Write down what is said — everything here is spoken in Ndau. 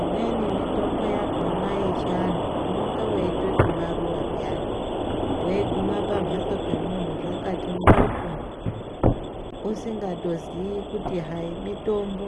Imweni mitombo yakhona yechiantu unonga weitoti maruwa pheyani. Weiguma pamhatso pemunhu zvakati njoko ,usingatoziyi kuti hayi mitombo.